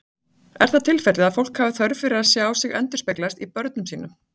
Er það tilfellið að fólk hafi þörf fyrir að sjá sig endurspeglast í börnum sínum?